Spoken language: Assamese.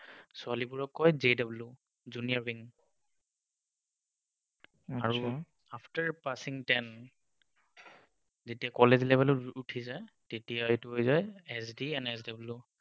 ছোৱালীবোৰক কয় JW junior wing, আৰু after passing ten, যেতিয়া college level ত উঠি যায়, তেতিয়া এইটো হৈ যায় SD and SW